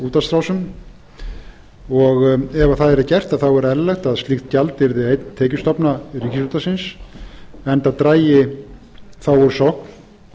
útvarpsrásum ef það yrði gert er eðlilegt að slíkt gjald yrði einn tekjustofna ríkisútvarpsins enda drægi þá úr sókn